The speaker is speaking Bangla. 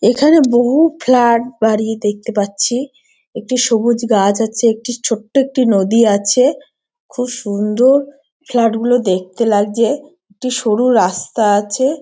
এখানে বহু ফ্লেট বাড়ি দেখতে পাচ্ছি একটি সবুজ গাছ আছে একটি ছোট্ট একটি নদী আছে খুব সুন্দর ফ্ল্যাট গুলো দেখতে লাগছে একটি সরু রাস্তা আছে।